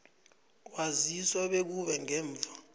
waziswa bekube ngemva